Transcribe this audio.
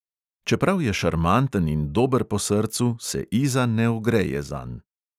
Čeprav je šarmanten in dober po srcu, se iza ne ogreje zanj.